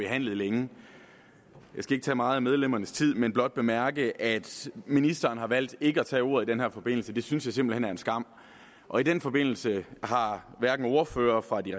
behandlet længe jeg skal ikke tage meget af medlemmernes tid men blot bemærke at ministeren har valgt ikke at tage ordet i den her forbindelse det synes jeg simpelt hen er en skam og i den forbindelse har ordførerne for de